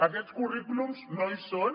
aquests currículums no hi són